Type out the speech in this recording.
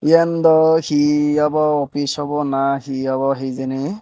iyen daw hi obow opis obow na hi obow hijeni.